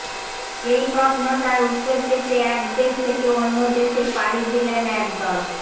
এই প্রশ্নটার উত্তর পেতে এক দেশ থেকে অন্য দেশে পাড়ি দিলেন এক দল